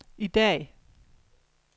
i dag